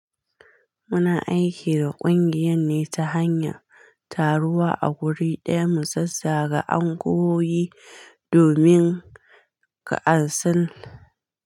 Muna aiki da ƙungiyan ne ta hanyar taruwa a wuri ɗaya mu zazzaga anguwo yi domin ka ansal.